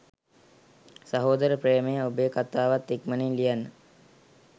සහෝදර ප්‍රේමයේ ඔබේ කතාවත් ඉක්මනින් ලියන්න